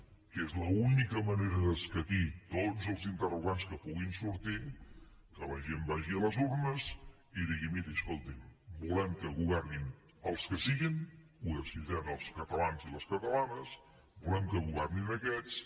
que és l’única manera d’escatir tots els interrogants que puguin sortir que la gent vagi a les urnes i digui mirin escoltin volem que governin els que siguin ho decidiran els catalans i les catalanes volem que governin aquests